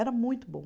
Era muito bom.